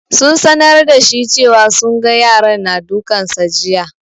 Sun sanar da shi cewa sun ga yaran na dukan sa jiya.